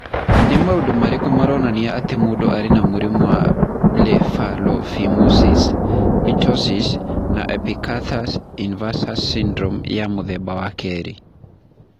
Nĩ maũndũ marĩkũ maronania atĩ mũndũ arĩ na mũrimũ wa Blepharophimosis, ptosis, na epicanthus inversus syndrome wa mũthemba wa kerĩ?